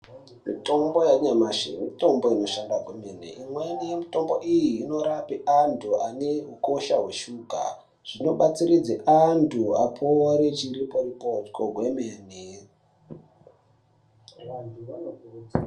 Mitombo yanyamashi mitombo inoshanda kwemene. Imweni yemitombo iyi inorape antu ane ukosha hweshuga. Zvinobatsiridze antu apore chiriporipoko kwemene.